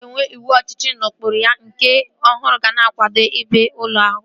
A ga-enwe ịwụ ọchịchị na ụkpụrụ ya nke ọhụrụ ga na-akwado ebe ụlọ ọrụ a